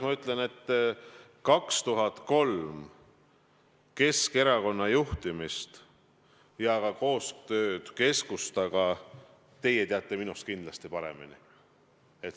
Ma ütlen teile, et Keskerakonna juhtimist 2003. aastal ja ka koostööd Keskustaga teate teie minust kindlasti paremini.